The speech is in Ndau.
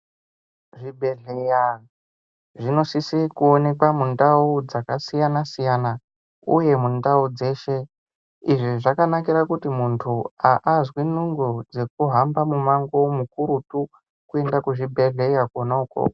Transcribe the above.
Zvibhedhlera zvinosisa kuonekwa mundau dzakasiyana siyana uye mundau dzeshe izvi zvakanakira kuti muntu asazwa nungo dzekuhamba mumango kakurutu kuenda kuzvibhedhlera Kona uko.